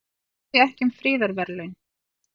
Tjá sig ekki um friðarverðlaun